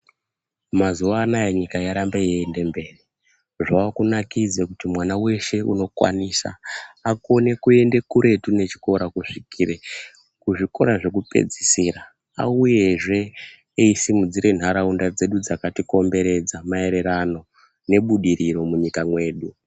Mazuwa anaya nyika yarambe yeienda mberi. Zvavakunakidza kuti mwana weshe unokwanisa akone kuende kuretu nechikora kusvikire kuzvikora zvekupedzisira auyezve eisimudzira nharaunda dzedu dzakatikomberedza maererano nebudiriro munyika mwedu.